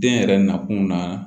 Den yɛrɛ nakun na